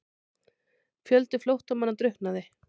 Fjöldi flóttamanna drukknaði